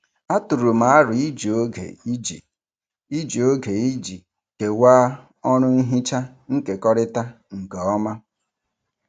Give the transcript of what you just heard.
Atụrụ m aro iji oge iji iji oge iji kewaa ọrụ nhicha nkekọrịta nke ọma.